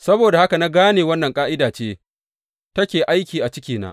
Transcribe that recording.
Saboda haka na gane wannan ƙa’ida ce take aiki a cikina.